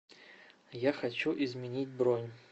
я хочу изменить бронь